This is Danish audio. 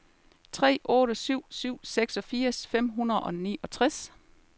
tre otte syv syv seksogfirs fem hundrede og niogtres